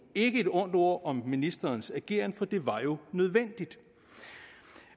ikke et ondt ord om ministerens ageren for det var jo nødvendigt